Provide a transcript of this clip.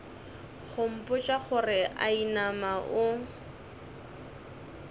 go mpotša gore inama o